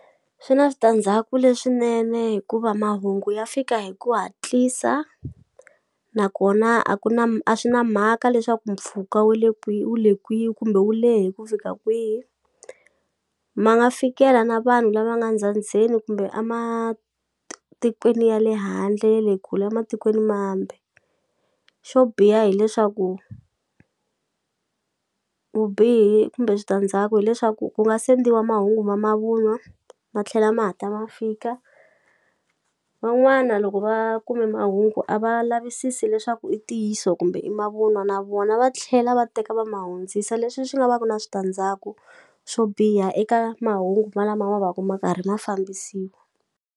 Swi na switandzhaku leswinene hikuva mahungu ya fika hi ku hatlisa nakona a ku na a swi na mhaka leswaku mpfhuka we le kwihi wu le kwihi kumbe wu lehe ku fika kwihi ma nga fikela na vanhu lava nga ndzhandzheni kumbe a matikweni ya le handle ya le kule a matikweni mambe xo biha hileswaku vubihi kumbe switandzhaku hileswaku ku nga sendela mahungu ma mavunwa ma tlhela ma hatla ma fika van'wana loko va kume mahungu a va lavisisi leswaku i ntiyiso kumbe i mavunwa na vona va tlhela va teka va ma hundzisa leswi swi nga va ku na switandzhaku swo biha eka mahungu malama ma vaka ma karhi ma fambisiwa.